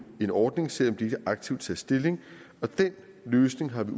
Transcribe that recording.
en ordning selv om de ikke aktivt tager stilling og den løsning har vi